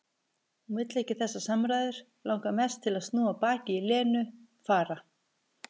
Hún vill ekki þessar samræður, langar mest til að snúa baki í Lenu, fara.